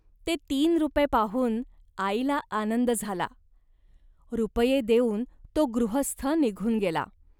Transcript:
ते तीन रुपये पाहून आईला आनंद झाला. रुपये देऊन तो गृहस्थ निघून गेला